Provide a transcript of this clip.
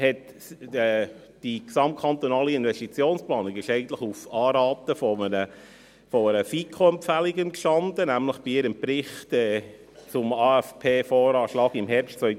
Eigentlich entstand die GKIP auf Anraten und auf Empfehlung der FiKo hin, nämlich in ihrem Bericht zum AFP/VA von Herbst 2010